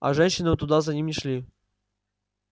а женщины туда за ним не шли